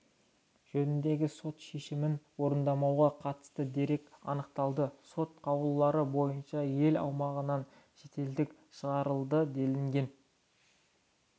жөніндегі сот шешімін орындамауға қатысты дерек анықталды сот қаулылары бойынша ел аумағынан шетелдік шығарылды делінген